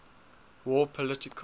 war political